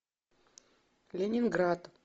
ленинград